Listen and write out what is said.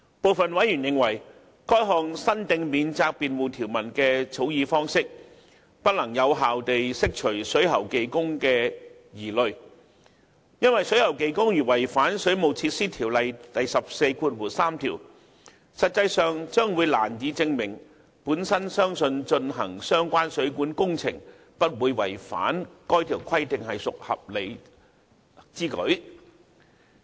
部分委員認為，該項新訂免責辯護條文的草擬方式，不能有效地釋除水喉技工的疑慮，因為水喉技工如違反《水務設施條例》第143條，實際上將難以證明其本人相信進行相關水管工程不會違反該條規定是屬合理之舉。